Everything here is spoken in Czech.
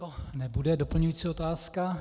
To nebude doplňující otázka.